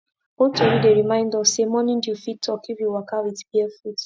old tori dey remind us say morning dew fit talk if you waka with bare foot